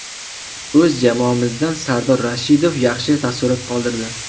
O‘z jamoamizdan Sardor Rashidov yaxshi taassurot qoldirdi.